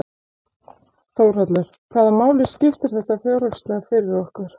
Þórhallur: Hvaða máli skiptir þetta fjárhagslega fyrir okkur?